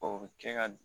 O bɛ kɛ ka